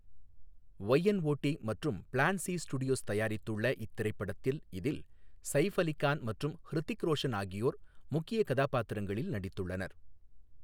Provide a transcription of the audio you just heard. Y Not மற்றும் Plan C Studios தயாரித்துள்ள இத்திரைப்படத்தில் இதில் சயிஃப் அலி கான் மற்றும் ஹிருத்திக் ரோஷன் ஆகியோர் முக்கிய கதாபாத்திரங்களில் நடித்துள்ளனர்.